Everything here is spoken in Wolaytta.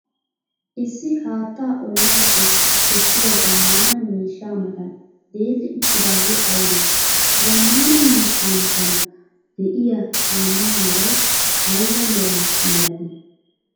Issi haattaa ollappe kessiya zammaana miishshaa matan deelli uttidaage aybe? Ha zamaana miishsha matan de'iya camaa meray ayba mera malati?